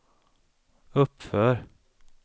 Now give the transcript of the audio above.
uppför